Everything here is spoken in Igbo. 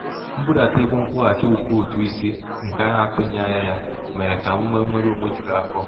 mbudata ego nkwụghachi ụgwọ ụtụisi nke a na-atụghị anya ya mere ka m nwee nnwere onwe juru afọ.